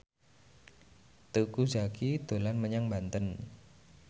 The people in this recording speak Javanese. Teuku Zacky dolan menyang Banten